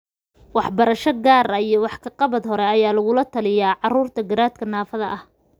Waxbarasho gaar ah iyo wax ka qabad hore ayaa laga yaabaa in lagula taliyo carruurta garaadka naafada ah.